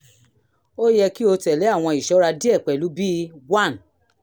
ó yẹ kí o tẹ̀lé àwọn ìṣọ́ra díẹ̀ pẹ̀lú bíi: 1